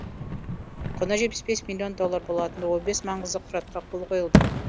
құны жетпіс бес миллион доллар болатын он бес маңызды құжатқа қол қойылды